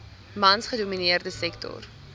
mans gedomineerde sektor